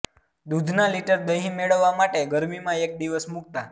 દૂધના લીટર દહીં મેળવવા માટે ગરમીમાં એક દિવસ મુકતા